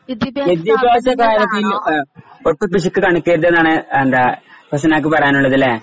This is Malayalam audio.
വിത്യാഭ്യസ കാര്യത്തില് ആ ഒട്ടും പിശുക്കു കാണിക്കരുത് എന്നാണ് ന്റെ ഫസ്‌നാക്ക് പറയാനുള്ളതല്ലേ